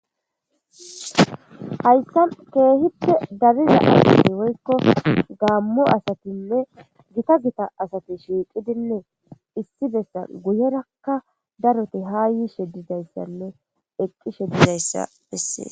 Hassan keehippe dariza asatinne woyiko gaammo asatinne gita gita asati shiiqidinne issi bessan guyerakka darozi haa yishe dizayssinne eqqishe dizayssa bessees.